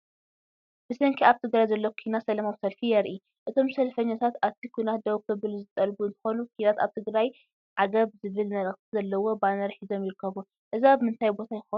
ብሰንኪ ኣብ ትግራይ ዘሎ ኩናት ሰላማዊ ሰልፊ የርኢ። እቶም ሰልፈኛታት እቲ ኩናት ደው ክብል ዝጠልቡ እንትኾኑ "ኲናት ኣብ ትግራይ ዓገብ" ዝብል መልእኽቲ ዘለዎ ባነር ሒዞም ይርከቡ። እዚ ኣብ ምንታይ ቦታ ይኾን?